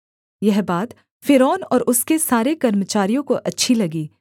यह बात फ़िरौन और उसके सारे कर्मचारियों को अच्छी लगी